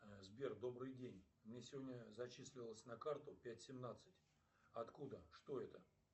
сбер добрый день мне сегодня зачислилось на карту пять семнадцать откуда что это